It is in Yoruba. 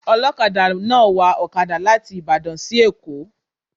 Ọlọkada náà wa ọkada láti Ìbàdàn sí èkó